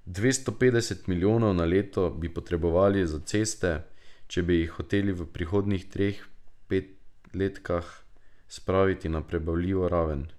Dvesto petdeset milijonov na leto bi potrebovali za ceste, če bi jih hoteli v prihodnjih treh petletkah spraviti na prebavljivo raven.